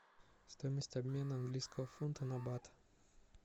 стоимость обмена английского фунта на бат